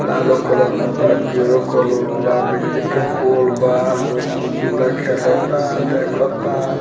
लालो कलर में बा पियरो कलर में बा बिजली के पोल बा लोग झूला खेलता देखता।